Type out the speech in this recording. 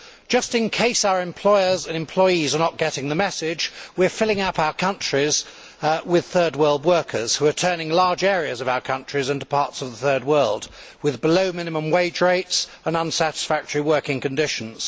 Just in case our employers and employees are not getting the message, we are filling up our countries with third world workers who are turning large areas of our countries into parts of the third world with below minimum wage rates and unsatisfactory working conditions.